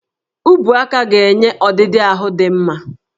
Ubuaka ga-enye ọdịdị ahụ dị mma